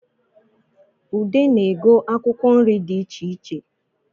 Ude na-ego akwụkwọ nri di icheiche